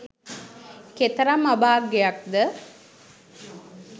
කෙතරම් අභාග්‍යයක් ද?